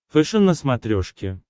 фэшен на смотрешке